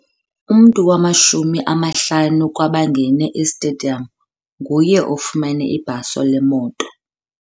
Umntu wamashumi amahlanu kwabangene esitediyamu nguye ofumene ibhaso lemoto.